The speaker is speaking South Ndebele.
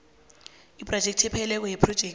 ibhajethi epheleleko yephrojekhthi